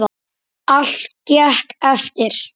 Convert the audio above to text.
Allt gekk eftir.